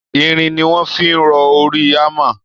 Irin ni wọ́n fi rọ orí hammer